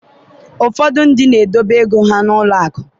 ụfọdụ ndị na-edobe ego ha n’ụlọ akụ